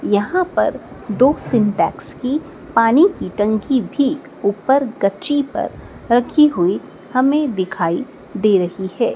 यहां पर दो सिंटेक्स की पानी की टंकी भी ऊपर गच्ची पर रखी हुई हमें दिखाई दे रही है।